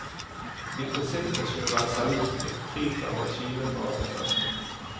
I prinsippet skal du være selvstyrt, fri fra regimet på arbeidsplassen.